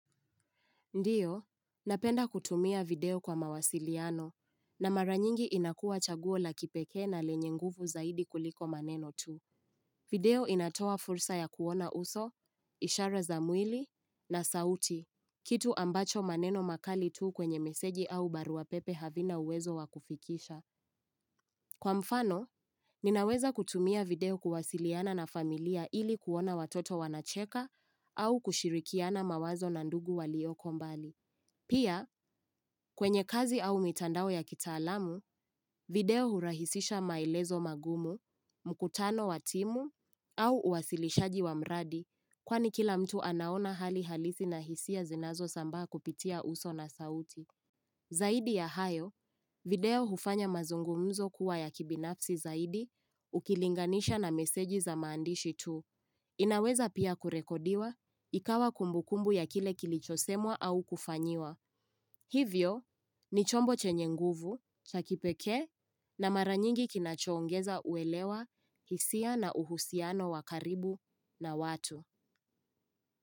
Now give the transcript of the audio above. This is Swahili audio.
Ndiyo, napenda kutumia video kwa mawasiliano na maranyingi inakuwa chaguo la kipeke na lenye nguvu zaidi kuliko maneno tu. Video inatoa fursa ya kuona uso, ishara za mwili na sauti, kitu ambacho maneno makali tu kwenye meseji au barua wapepe havina uwezo wakufikisha. Kwa mfano, ninaweza kutumia video kuwasiliana na familia ili kuona watoto wanacheka au kushirikiana mawazo na ndugu walioko mbali. Pia, kwenye kazi au mitandao ya kitaalamu, video hurahisisha maelezo magumu, mkutano watimu, au uwasilishaji wa mradi, kwani kila mtu anaona hali halisi na hisia zinazo sambaa kupitia uso na sauti. Zaidi ya hayo, video hufanya mazungumuzo kuwa ya kibinafsi zaidi ukilinganisha na meseji za maandishi tu. Inaweza pia kurekodiwa ikawa kumbukumbu ya kile kilichosemwa au kufanyiwa. Hivyo ni chombo chenye nguvu chakipeke na maranyingi kinachoongeza uelewa hisia na uhusiano wakaribu na watu.